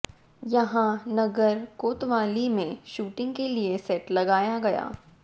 यहां नगर कोतवाली में शूटिंग के लिए सेट लगाया गया